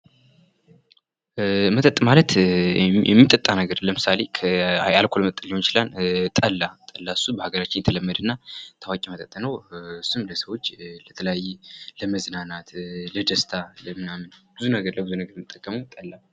መጠጥ ማለት የሚጠጣ ነገር ለምሳሌ የአክልኮል መጠጥ ሊሆን ይችላል፣ ጠላ፣ ጠላ እሱ በሐገራችን የተለመደና ታዋቂ መጠጥ ነው። በጣም ለሰዎች ለተለያየ ለመዝናናት፣ ለደስታ ለምናምን ብዙ ነገር ለብዙ ነገር የምንጠቀመው ጠላ ነው።